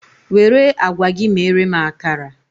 Were agwa gị mere m akara!